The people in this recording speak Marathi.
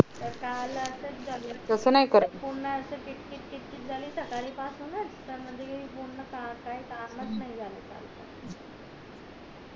त काल असच झालं पूर्ण अशीच कीटकीत झाली सकाळ पासून च तर म्हणजे काय काम च नाही झालं म्हणजे काल